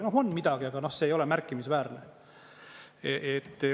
No on midagi, aga see ei ole märkimisväärne.